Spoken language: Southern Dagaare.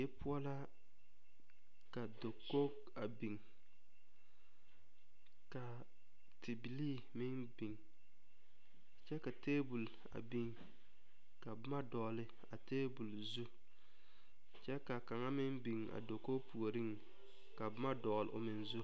Die poɔ la ka dakogi a biŋ ka tibilii a biŋ kyɛ ka tabol a biŋ ka boma dɔgeli a tabol zu kyɛ ka kaŋa meŋ biŋ a dakogi puoriŋ ka boma dɔgeli O meŋ zu